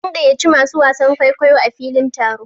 An gayyaci masu wasan kwaikwayo a filin taron.